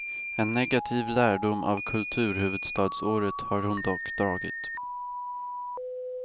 En negativ lärdom av kulturhuvudstadsåret har hon dock dragit.